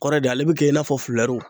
Kɔrɛ de, ale be kɛ i n'a fɔ